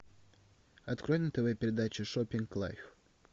открой на тв передачу шоппинг лайв